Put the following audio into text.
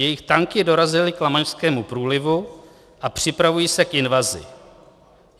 Jejich tanky dorazily k Lamanšskému průlivu a připravují se k invazi.